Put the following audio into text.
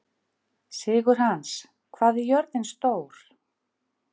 Sigurhans, hvað er jörðin stór?